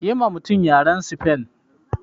Yiwa mutumin yaren sifen.